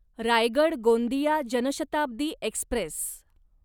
Raigad Gondia Janshatabdi Express